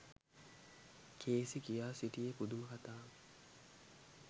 Cayce කියා සිටියේ පුදුම කථාවකි.